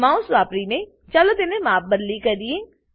mouse વાપરીને ચાલો તેને માપબદલી કરીએ